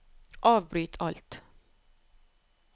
avbryt alt